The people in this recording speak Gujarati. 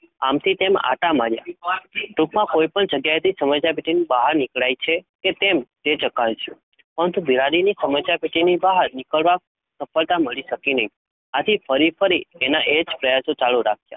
આમથી તેમ આંટા માર્યા. ટૂંકમા કોઈપણ જગ્યાએથી સમસ્યા પેટીની બહાર નીકળાય છે કે કેમ તે ચકાસ્યું પરંતુ બિલાડીને સમસ્યા પેટીની બહાર નીકળવા સફળતા મળી શકી નહીં. આથી ફરીફરી એના એજ પ્રયાસો ચાલુ રાખ્યા